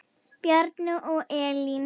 Bjarni og Elín.